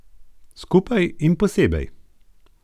Skupaj in posebej.